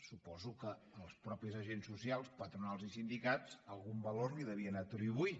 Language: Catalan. suposo que els mateixos agents socials patronals i sindicats algun valor li devien atribuir